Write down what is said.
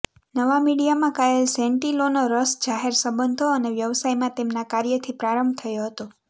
નવા મીડિયામાં કાયલ સેન્ટિલોનો રસ જાહેર સંબંધો અને વ્યવસાયમાં તેમના કાર્યથી પ્રારંભ થયો હતો